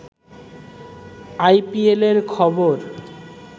আইপিএলের খবর